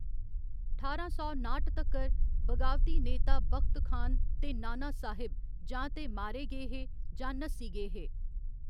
ठारां सौ नाठ तक्कर, बगावती नेता बख्त खान ते नाना साहिब जां ते मारे गे हे जां नस्सी गे हे।